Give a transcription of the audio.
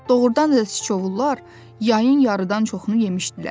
Doğrudan da Siçovullar yayın yarıdan çoxunu yemişdilər.